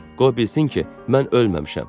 Qoy bilsin ki, mən ölməmişəm.